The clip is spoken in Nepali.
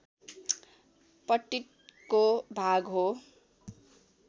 पट्टिको भाग हो